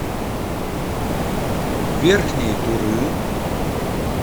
верхней туры